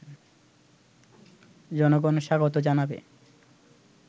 জনগণ স্বাগত জানাবে